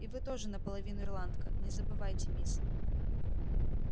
и вы тоже наполовину ирландка не забывайте мисс